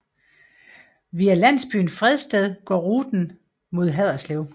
Via landsbyen Fredsted går ruten mod Haderslev